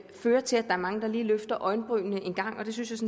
fører til at der er mange der lige løfter øjenbrynene en gang og det synes